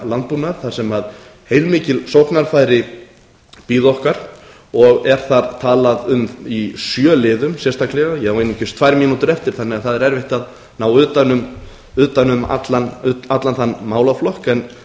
landbúnað þar sem heilmikil sóknarfæri bíða okkar og er þar talað um í sjö liðum sérstaklega ég á einungis tvær mínútur eftir þannig að það er erfitt að ná utan um allan þann málaflokk en